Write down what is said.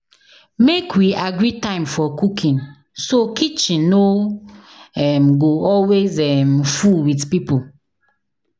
Make we agree time for cooking, so kitchen no um go always um full with people.